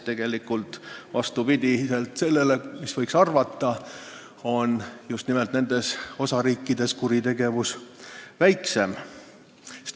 Tegelikult on vastupidi sellele, mida võiks arvata, just nimelt nendes osariikides kuritegevust vähem.